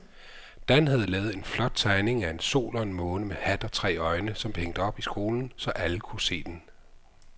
Dan havde lavet en flot tegning af en sol og en måne med hat og tre øjne, som blev hængt op i skolen, så alle kunne se den.